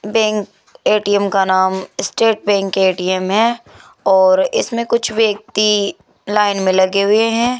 Bank ATM का नाम state bank ATM है और इसमें कुछ व्यक्ति लाइन में लगे हुए हैं।